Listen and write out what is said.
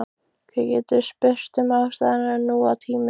Hver getur spurt um ástæður nú á tímum?